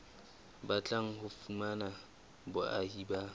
batlang ho fumana boahi ba